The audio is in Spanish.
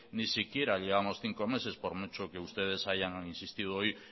ni siquiera llevamos cinco meses por mucho que ustedes hayan insistido hoy